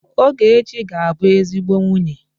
Ogechi ga-abụ ezigbo nwunye.